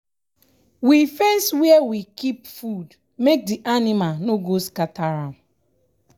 we fence where we kip food make d anima no go enta scatter am